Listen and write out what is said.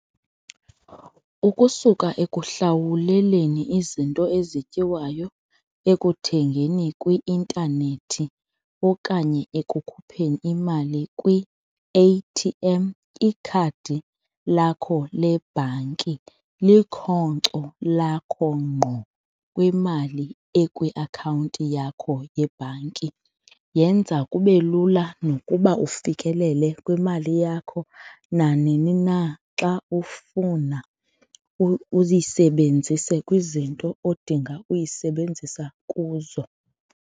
Ukusuka ekuhlawuleleni izinto ezityiwayo, ekuthengeni kwi-intanethi okanye ekukhupheni imali kwi-A_T_M, ikhadi lakho lebhanki likhonco lakho ngqo kwimali ekwiakhawunti yakho yebhanki. Yenza kube lula nokuba ufikelele kwimali yakho nanini na xa ufuna uyisebenzise kwizinto odinga uyisebenzisa kuzo.